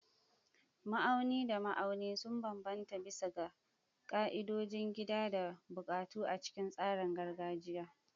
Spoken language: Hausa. Ma'auni da ma'auni sun bambanta bisa ga ƙa'idodin gida da buƙatu a cikin tsarin gargajiya.